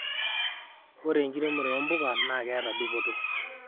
ore enkiremore ompuka naa keeta dupoto